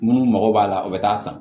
Munnu mago b'a la u bɛ taa san